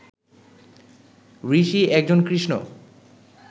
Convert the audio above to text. ঋষি একজন কৃষ্ণ